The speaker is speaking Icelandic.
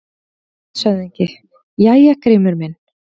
LANDSHÖFÐINGI: Jæja, Grímur minn!